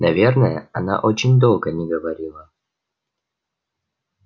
наверное она очень долго не говорила